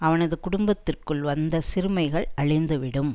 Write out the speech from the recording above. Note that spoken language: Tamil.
அவனது குடும்பத்திற்குள் வந்த சிறுமைகள் அழிந்துவிடும்